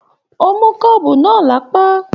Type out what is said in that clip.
O mú kọ́ọ́bú náà lápá.